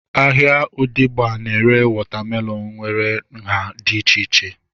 Ahịa odegba na-ere wọta melọnu nwere nhá dị iche iche